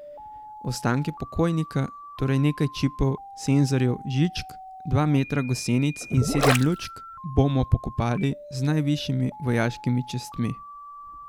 Ostanke pokojnika, torej, nekaj čipov, senzorjev, žičk, dva metra gosenic in sedem lučk bomo pokopali z najvišjimi vojaškimi častmi.